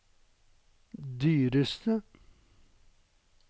dyreste